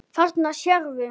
Þarna sérðu.